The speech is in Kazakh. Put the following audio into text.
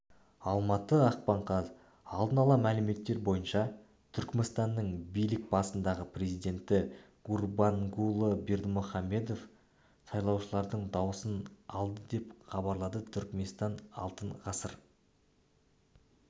алматы ақпан қаз алдын ала мәліметтер бойынша түркменстанның билік басындағы президенті гурбангулы бердымухамедов сайлаушылардың даусын алды деп хабарлады түркменстан алтын ғасыр